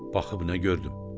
Baxıb nə gördüm?